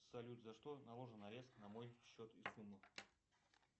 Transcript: салют за что наложен арест на мой счет и сумма